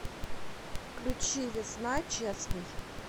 включи весна честный